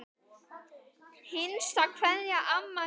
HINSTA KVEÐJA Amma mín.